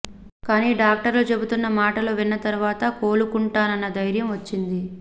కాని డాక్టర్లు చెబుతున్న మాటలు విన్న తరువాత కోలుకుంటానన్న ధైర్యం వచ్చింది